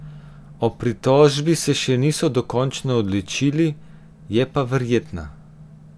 O pritožbi se še niso dokončno odločili, je pa verjetna.